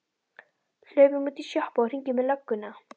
Hlaupum út í sjoppu og hringjum í lögguna!